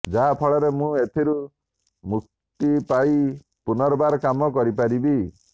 ଯାହାଫଳରେ ମୁଁ ଏଥିରୁ ମୁକ୍ତି ପାଇ ପୁନର୍ବାର କାମ କରିପାରିବି